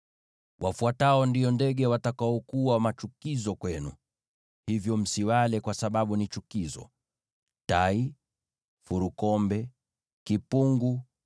“ ‘Wafuatao ndio ndege watakaokuwa machukizo kwenu, hivyo msiwale kwa sababu ni chukizo: tai, furukombe, kipungu,